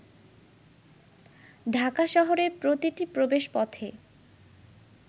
ঢাকা শহরের প্রতিটি প্রবেশপথে